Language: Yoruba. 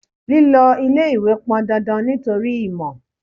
Lílọ ilé-ìwé pọn dandan nítorí ìmò.